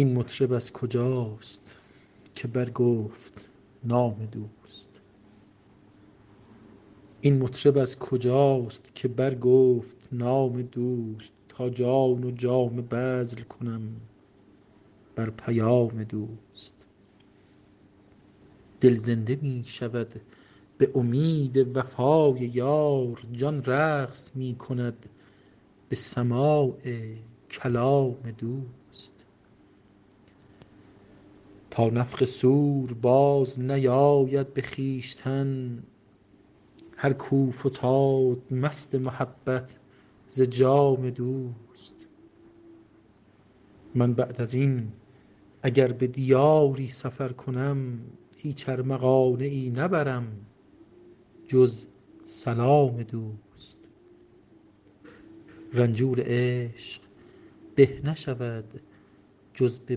این مطرب از کجاست که برگفت نام دوست تا جان و جامه بذل کنم بر پیام دوست دل زنده می شود به امید وفای یار جان رقص می کند به سماع کلام دوست تا نفخ صور بازنیاید به خویشتن هر کاو فتاد مست محبت ز جام دوست من بعد از این اگر به دیاری سفر کنم هیچ ارمغانیی نبرم جز سلام دوست رنجور عشق به نشود جز به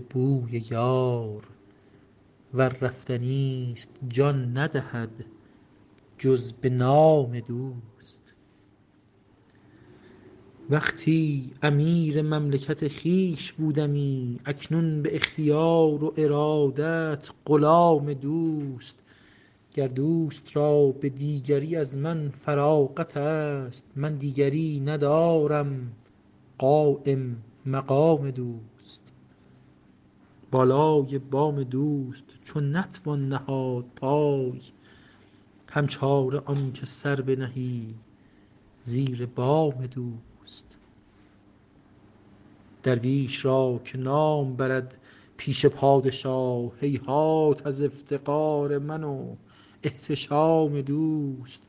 بوی یار ور رفتنی ست جان ندهد جز به نام دوست وقتی امیر مملکت خویش بودمی اکنون به اختیار و ارادت غلام دوست گر دوست را به دیگری از من فراغت ست من دیگری ندارم قایم مقام دوست بالای بام دوست چو نتوان نهاد پای هم چاره آن که سر بنهی زیر بام دوست درویش را که نام برد پیش پادشاه هیهات از افتقار من و احتشام دوست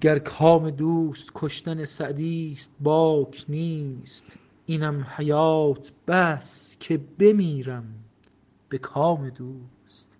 گر کام دوست کشتن سعدی ست باک نیست اینم حیات بس که بمیرم به کام دوست